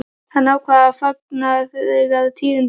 Hann ákvað að fagna þegar tíðindin bærust.